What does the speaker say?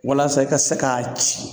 Walasa i ka se ka ci